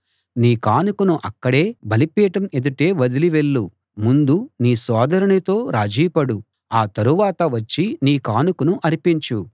నీ కానుకను అక్కడే బలిపీఠం ఎదుటే వదిలి వెళ్ళు ముందు నీ సోదరునితో రాజీ పడు ఆ తరువాత వచ్చి నీ కానుకను అర్పించు